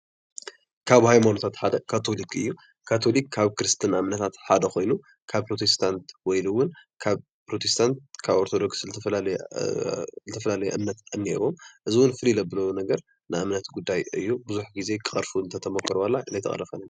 ካብ ሃይማኖታት ሓደ ካቶሊክ እዩ። ካቶሊክ ካብ ክርስትና እምነታት ሓደ ኮይኑ ካብ ፕሮቲስታንት ወይ እዉን ካብ ኦርተዶክስ ዝተፈላለየ እምነት እኒአዎ እዚ'ዉን ፍልይ ዘብሎ ነገር ናይ እምነት ጉዳይ እዩ ብዙሕ ግዘ ክቅረፍ ተተመኮረ ዋላ ግን ኣይተቀረፈን ።